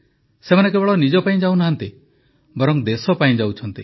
ସେମାନେ କେବଳ ନିଜ ପାଇଁ ଯାଉନାହାନ୍ତି ବରଂ ଦେଶ ପାଇଁ ଯାଉଛନ୍ତି